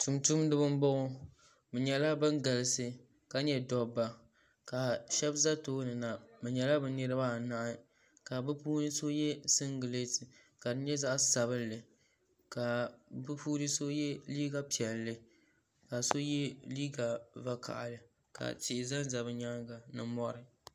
Tumtumdiba n boŋo bi nyɛla bin galisi ka nyɛ dabba ka shab ʒɛ tooni na bi nyɛla bi niraba anahi ka bi puuni so yɛ singirɛti ka di nyɛ zaɣ sabinli ka bi puuni so yɛ liiga piɛlli ka so yɛ liiga vakaɣali ka tihi ʒɛnʒɛ bi nyaanga ni mori